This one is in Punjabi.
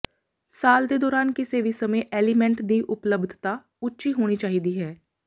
ਸਾਲ ਦੇ ਦੌਰਾਨ ਕਿਸੇ ਵੀ ਸਮੇਂ ਐਲੀਮੈਂਟ ਦੀ ਉਪਲਬਧਤਾ ਉੱਚੀ ਹੋਣੀ ਚਾਹੀਦੀ ਹੈ